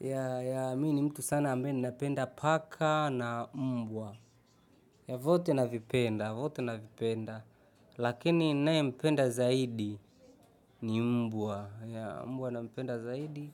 Ya, ya, mimi ni mtu sana ambaye ninapenda paka na mbwa. Ya, vyote na vipenda, vyote na vipenda. Lakini ninaye mpenda zaidi ni mbwa. Ya, mbwa na mpenda zaidi.